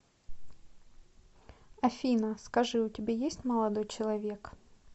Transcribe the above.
афина скажи у тебя есть молодой человек